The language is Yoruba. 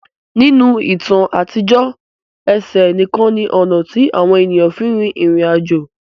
Ninu itan atijọ, ẹsẹ nikan ni ọna ti awọn eniyan fin rin irin ajo.